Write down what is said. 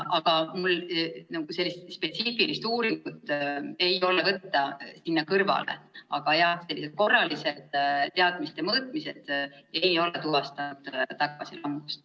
Mul küll mingit spetsiifilist uuringut ei ole võtta siia kõrvale, aga korralised teadmiste mõõtmised ei ole tuvastanud tagasilangust.